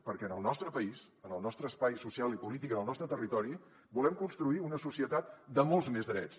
perquè en el nostre país en el nostre espai social i polític en el nostre territori volem construir una societat de molts més drets